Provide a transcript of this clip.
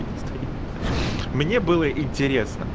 стоит мне было интересно